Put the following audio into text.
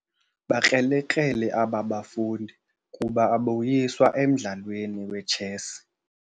Bakrelekrele aba bafundi kuba aboyiswa emdlalweni wetshesi.